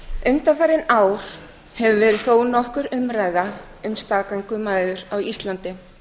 undanfarin ár hefur verið þó nokkur umræða um staðgöngumæðrun á íslandi